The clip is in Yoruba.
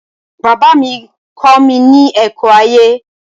Bàbá mi kọ́mi ní ẹ̀kọ́ ayé